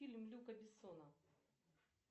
фильм люка бессона